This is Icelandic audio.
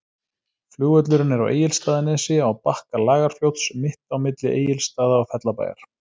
Flugvöllurinn er á Egilsstaðanesi, á bakka Lagarfljóts, mitt á milli Egilsstaða og Fellabæjar.